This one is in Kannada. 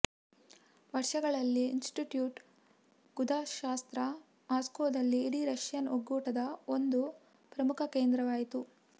ವರ್ಷಗಳಲ್ಲಿ ಇನ್ಸ್ಟಿಟ್ಯೂಟ್ ಗುದಶಾಸ್ತ್ರ ಮಾಸ್ಕೋದಲ್ಲಿ ಇಡೀ ರಷ್ಯನ್ ಒಕ್ಕೂಟದ ಒಂದು ಪ್ರಮುಖ ಕೇಂದ್ರವಾಯಿತು